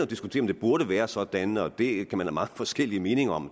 diskutere om det burde være sådan og det kan man have mange forskellige meninger om